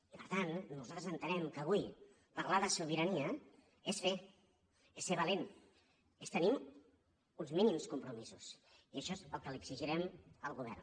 i per tant nosaltres entenem que avui parlar de sobirania és fer és ser valent és tenir uns mínims compromisos i això és el que li exigirem al govern